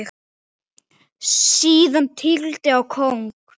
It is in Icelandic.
Síðan tígli á kóng.